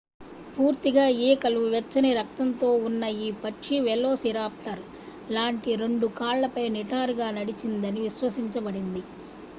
పూర్తిగా ఈకలు వెచ్చని రక్తంతో ఉన్న ఈ పక్షి వెలోసిరాప్టర్ లాంటి రెండు కాళ్లపై నిటారుగా నడిచిందని విశ్వసించబడింది